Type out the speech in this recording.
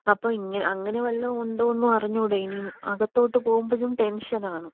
അപ്പോ ഇങ്ങനെ അങ്ങനെ വെല്ലോം ഉണ്ടോന്നും അറിഞ്ഞൂടെ. ഉം അകത്തോട്ട് പോവുമ്പഴും ടെൻഷനാണ്.